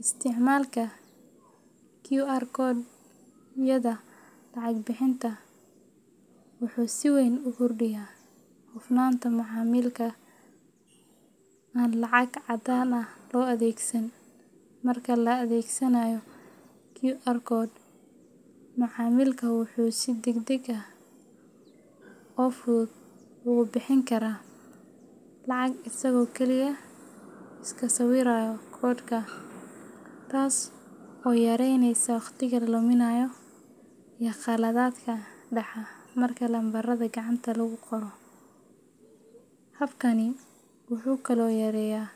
Isticmaalka QR code-yada lacag-bixinta wuxuu si weyn u kordhiyaa hufnaanta macaamilka aan lacag caddaan ah loo adeegsan. Marka la adeegsanayo QR code, macaamilka wuxuu si degdeg ah oo fudud ugu bixin karaa lacag isagoo kaliya iska sawiraya koodhka, taas oo yareyneysa waqtiga la luminayo iyo khaladaadka dhaca marka lambarada gacanta lagu qoro. Habkani wuxuu kaloo yareeyaa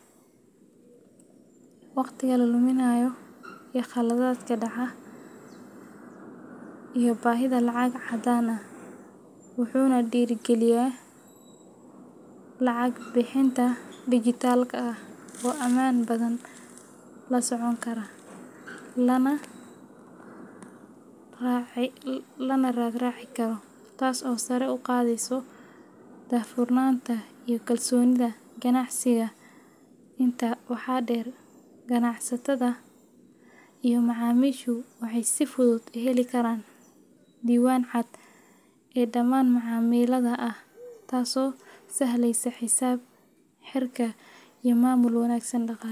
baahida lacag caddaan ah, wuxuuna dhiirrigeliyaa lacag-bixinta dijitaalka ah oo ammaan badan, la socon kara, lana raad raaci karo, taas oo sare u qaadaysa daahfurnaanta iyo kalsoonida ganacsiga. Intaa waxaa dheer, ganacsatada iyo macaamiishu waxay si fudud u heli karaan diiwaan cad oo dhammaan macaamillada ah, taasoo sahlaysa xisaab-xirka iyo maamul wanaagsan daqale